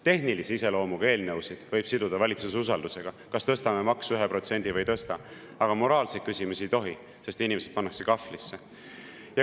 Tehnilise iseloomuga eelnõusid võib siduda valitsuse usaldamisega, et kas tõstame maksu 1% või ei tõsta, aga moraalseid küsimusi ei tohi, sest inimesed pannakse kahvlisse.